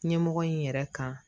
Ɲɛmɔgɔ in yɛrɛ kan